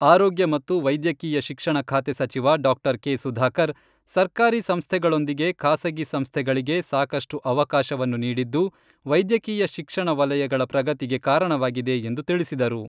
ಆರೋಗ್ಯ ಮತ್ತು ವೈದ್ಯಕೀಯ ಶಿಕ್ಷಣ ಖಾತೆ ಸಚಿವ ಡಾಕ್ಟರ್ ಕೆ ಸುಧಾಕರ್, ಸರ್ಕಾರಿ ಸಂಸ್ಥೆಗಳೊಂದಿಗೆ ಖಾಸಗಿ ಸಂಸ್ಥೆಗಳಿಗೆ ಸಾಕಷ್ಟು ಅವಕಾಶವನ್ನು ನೀಡಿದ್ದು ವೈದ್ಯಕೀಯ ಶಿಕ್ಷಣ ವಲಯಗಳ ಪ್ರಗತಿಗೆ ಕಾರಣವಾಗಿದೆ ಎಂದು ತಿಳಿಸಿದರು.